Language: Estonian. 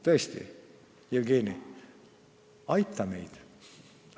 Tõesti, Jevgeni, aita meid!